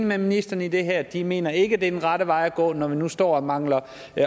med ministeren i det her de mener ikke er den rette vej at gå når vi nu står og mangler